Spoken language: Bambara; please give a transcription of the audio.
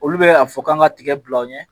Olu bɛ a fɔ k'an ka tigɛ bila aw ɲɛ